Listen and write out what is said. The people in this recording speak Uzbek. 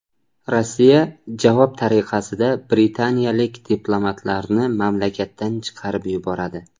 Rossiya javob tariqasida britaniyalik diplomatlarni mamlakatdan chiqarib yuboradi.